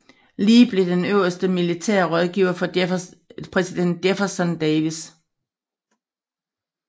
Lee blev den øverste militære rådgiver for præsident Jefferson Davis